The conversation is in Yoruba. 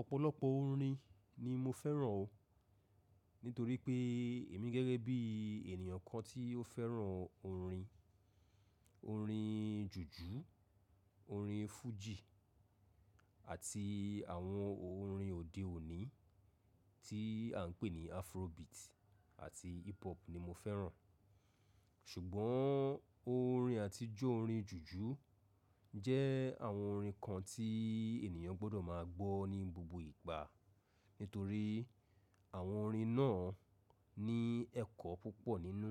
Ọ̀pọ̀lọpọ̀ orin ni mo fẹ́ràn o, nítorí pé èmi gẹ́gẹ́ bí ènìyàn kan tí ó fẹ́ràn orin. Orin jùjú, orin fújì àti àwọn orin òde òní tí à ń pè ní afrobeat àti hip hop ni mo fẹ́ràn. Ṣùgbọ́n orin àtijọ́ orin jùjú jẹ́ àwọn orin kan tí ènìyàn gbọdọ̀ máa gbọ́ ní gbogbo ìgbà. Nítorí àwọn orin náà ní ẹ̀kọ́ púpọ̀ nínú.